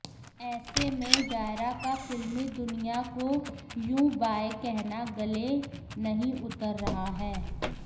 ऐसे में जायरा का फिल्मी दुनिया को यूं बाय कहना गले नहीं उतर रहा है